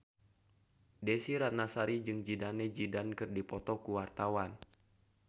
Desy Ratnasari jeung Zidane Zidane keur dipoto ku wartawan